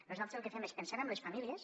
nosaltres el que fem és pensant en les famílies